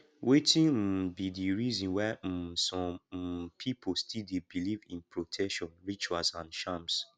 wetin um be di reason why um some um people still dey believe in protection rituals and charms